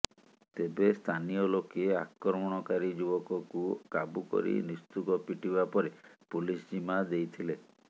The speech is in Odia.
ତେବେ ସ୍ଥାନୀୟ ଲୋକେ ଆକ୍ରମଣକାରୀ ଯୁବକକୁ କାବୁ କରି ନିସ୍ତୁକ ପିଟିବା ପରେ ପୁଲିସ୍ ଜିମା ଦେଇଥିଲେ